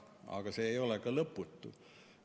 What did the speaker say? Aga see ei ole ka lõputu.